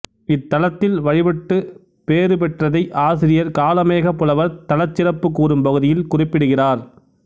இத்தலத்தில் வழிபட்டுப் பேறு பெற்றதை ஆசிரியர் காளமேகப் புலவர் தலச்சிறப்பு கூறும் பகுதியில் குறிப்பிடுகிறார்